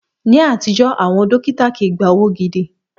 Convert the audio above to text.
Ní àtijọ́, àwọn dókítà kii gba owó gidi